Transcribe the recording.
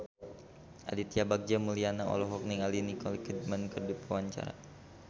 Aditya Bagja Mulyana olohok ningali Nicole Kidman keur diwawancara